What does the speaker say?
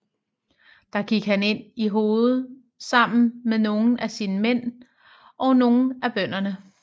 Der gik han ind i hovet sammen med nogle af sine mænd og nogle af bønderne